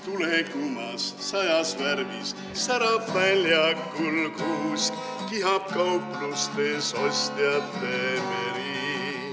Tulekumas sajas värvis särab väljakul kuusk, kihab kauplustes ostjate meri.